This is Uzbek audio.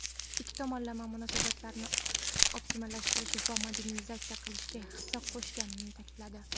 ikki tomonlama munosabatlarni optimallashtirish va modernizatsiya qilishga hissa qo‘shganini ta’kidladi.